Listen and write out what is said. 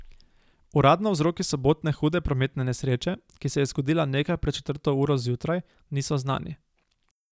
Uradno vzroki sobotne hude prometne nesreče, ki se je zgodila nekaj pred četrto uro zjutraj, niso znani.